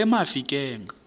emafikeng